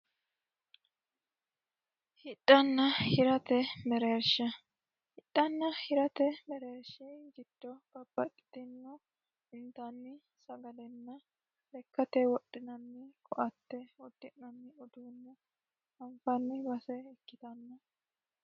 Hidhana hirate mereerisha. Hidhana hirate mereerishaati babbaxitino intanni sagalena lekkate wodhinanni koatte udi'nanni uduunne anfanni base ikkitanno.